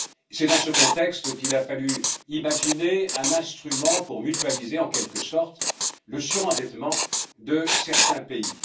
C'est dans ce contexte qu'il a fallu imaginer un instrument pour mutualiser, en quelque sorte, le surendettement de certains pays.